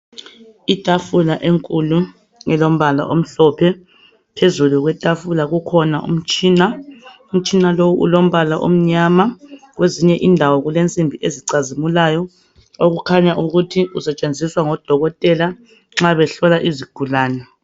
Itafula enkulu elompala omhlophe phezulu kwetafula kukhona umtshina. Utshina lowo ulompala omnyama kwezinye indawo kulesimbi ezicazimulayo okukhanya ukuthi usetshenziswa ngodokotela nxa behlola izigulane.